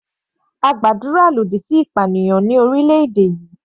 A gbàdúrà lòdì sí ìpànìyàn ní orílẹ̀-èdè yìí.